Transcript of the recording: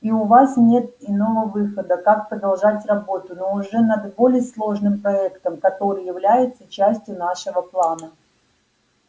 и у вас нет иного выхода как продолжать работу но уже над более сложным проектом который является частью нашего плана